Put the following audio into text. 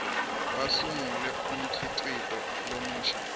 basungule umkhicito lomusha